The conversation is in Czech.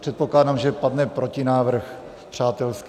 Předpokládám, že padne protinávrh - přátelský.